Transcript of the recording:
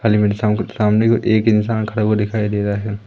Helmet सामने को एक इंसान खडा हुआ दिखाई दे रहा है।